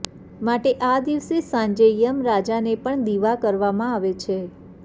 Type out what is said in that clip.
માટે આ દિવસે સાંજે યમ રાજાને પણ દીવા કરવામાં આવે છે